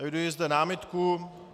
Eviduji zde námitku.